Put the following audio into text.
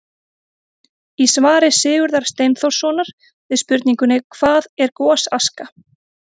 Í svari Sigurðar Steinþórssonar við spurningunni: Hvað er gosaska?